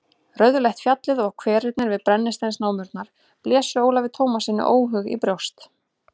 Rauðleitt fjallið og hverirnir við brennisteinsnámurnar blésu Ólafi Tómassyni óhug í brjóst.